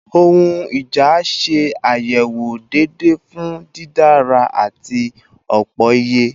Ohun ija ṣe ayewo deede fun didara ati opoiye